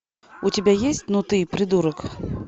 у тебя есть ну ты придурок